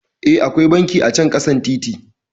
Eh, akwai banki acan ƙasan titi